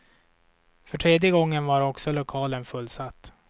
För tredje gången var också lokalen fullsatt.